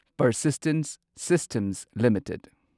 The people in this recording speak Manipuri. persistence systems limited